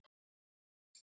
Vildi Glámur leita út en